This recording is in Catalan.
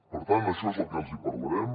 per tant d’això és del que els hi parlarem